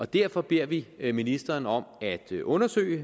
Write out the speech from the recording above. derfor beder vi vi ministeren om at undersøge